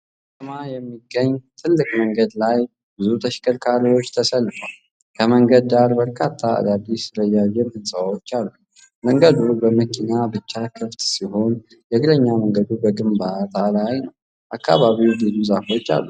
በመሀል ከተማ የሚገኝ ትልቅ መንገድ ላይ ብዙ ተሽከርካሪዎች ተሰልፈዋል። ከመንገዱ ዳር በርካታ አዳዲስ ረዣዥም ሕንፃዎች አሉ። መንገዱ ለመኪና ብቻ ክፍት ሲሆን፣ የእግረኛ መንገዱ በግንባታ ላይ ነው። አካባቢው ብዙ ዛፎች አሉት።